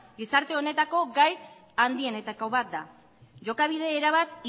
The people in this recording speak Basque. gizarte honetako gaitz handienetako bat da jokabide erabat